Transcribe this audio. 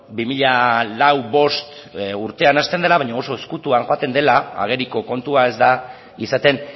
bi mila lau bost urtean hasten dela baina oso ezkutuan joaten dela ageriko kontua ez da izaten